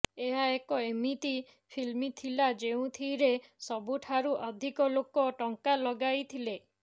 ଏହା ଏକ ଏମିତି ଫିଲ୍ମ ଥିଲା ଯେଉଁଥିରେ ସବୁଠାରୁ ଅଧିକ ଲୋକ ଟଙ୍କା ଲଗାଇଥିଲେ